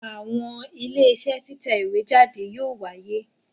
Àwọn Iléeṣẹ́ títẹ̀ ìwé jáde yóò wáyé